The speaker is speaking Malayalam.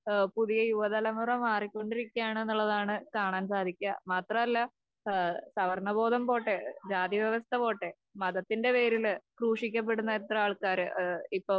പുതിയ യുവതലമുറ മാറിക്കൊണ്ടിരിക്കുകയാണുന്നുള്ളതാണ് കാണാൻ സാധിക്ക്യ. മാത്രമല്ല ഏഹ് സവർണ്ണബോധം പോട്ടെ ജാതിവ്യവസ്ഥ പോട്ടെ മതത്തിന്റെ പേരില് ക്രൂശിക്കപ്പെടുന്ന എത്ര ആൾക്കാര് ഏഹ് ഇപ്പൊ